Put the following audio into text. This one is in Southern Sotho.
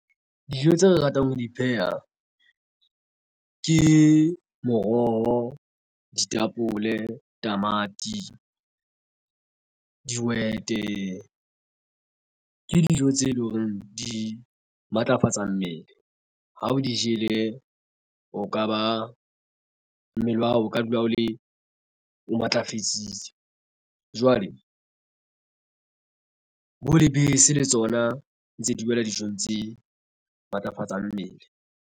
Dijo tse re ratang ho di pheha ke moroho ditapole, tamati, dihwete ke dijo tse leng horeng di matlafatsa mmele ha o di jele o ka ba mmele wa hao o ka dula o le o matlafetsitse jwale bo lebese le tsona ntse diwela dijong tse matlafatsang mmele.